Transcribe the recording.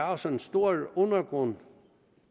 også en stor undergrund